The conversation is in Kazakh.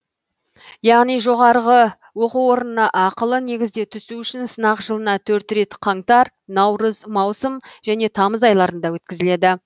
яғни жоғарғы оқу орнына ақылы негізде түсу үшін сынақ жылына төрт рет қаңтар наурыз маусым және тамыз айларында өткізіледі